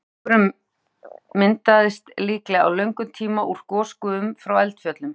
Lofthjúpurinn myndaðist líklega á löngum tíma úr gosgufum frá eldfjöllum.